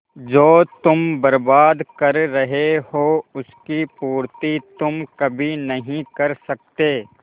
जो तुम बर्बाद कर रहे हो उसकी पूर्ति तुम कभी नहीं कर सकते